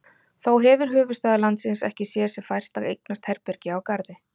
Þó hefir höfuðstaður landsins ekki séð sér fært að eignast herbergi á Garði.